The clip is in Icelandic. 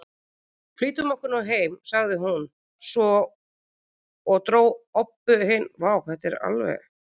Flýtum okkur nú heim, sagði hún svo og dró Öbbu hina út úr garðinum.